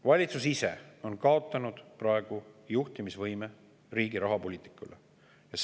Valitsus ise on kaotanud praegu riigi rahapoliitika juhtimise võime.